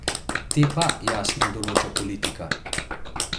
Te pa, jasno, določa politika.